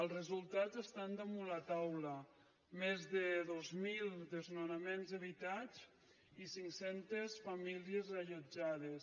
els resultats estan damunt la taula més de dos mil desnonaments evitats i cinc centes famílies reallotjades